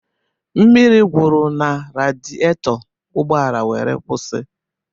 Mmiri gwụrụ na rediato, ụgbọala wéré kwụsị